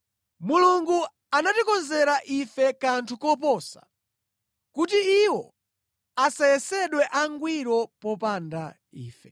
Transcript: Mulungu anatikonzera ife kanthu koposa, kuti iwo asayesedwe angwiro popanda ife.